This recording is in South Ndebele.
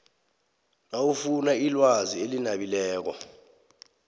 nawufuna ilwazi elinabileko